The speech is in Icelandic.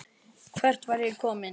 Hvert var ég kominn?